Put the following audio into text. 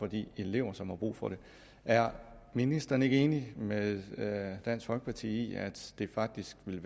de elever som har brug for det er ministeren ikke enig med dansk folkeparti i at det faktisk ville